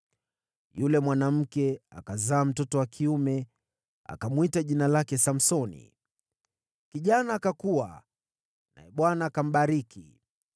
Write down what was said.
Yule mwanamke akazaa mtoto wa kiume akamwita jina lake Samsoni. Kijana akakua, naye Bwana akambariki.